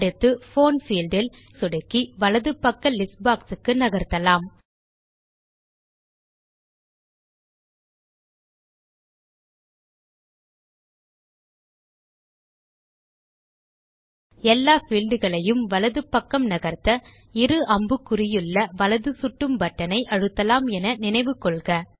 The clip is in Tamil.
அடுத்து போன் பீல்ட் இல் சொடுக்கி வலது பக்க லிஸ்ட் boxக்கு நகர்த்தலாம் எல்லா பீல்ட் களையும் வலது பக்கம் நகர்த்த இரு அம்புக்குறியுள்ள வலது சுட்டும் பட்டன் ஐ அழுத்தலாம் என நினைவு கொள்க